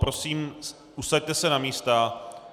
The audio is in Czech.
Prosím, usaďte se na místa.